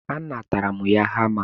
A natara m ya hama.